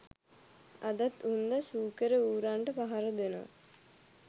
අදත් වුන්ද සූකර ඌරන්ට පහර දෙනවා.